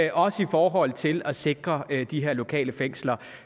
er også i forhold til at sikre de her lokale fængsler